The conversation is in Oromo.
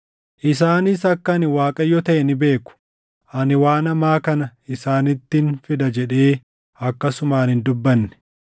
Isaanis akka ani Waaqayyo taʼe ni beeku; ani waan hamaa kana isaanittin fida jedhee akkasumaan hin dubbanne.